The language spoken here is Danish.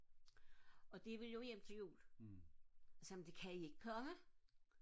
og de vil jo hjem til jul og jeg sagde det kan I ikke komme